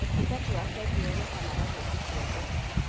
ũtungata wa bengi wonekanaga hĩndĩ ciothe.